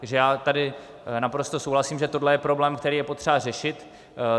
Takže já tady naprosto souhlasím, že tohle je problém, který je potřeba řešit.